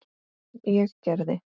Sem ég gerði.